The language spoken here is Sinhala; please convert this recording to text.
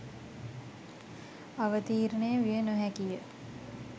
අවතීර්ණය විය නොහැකිය.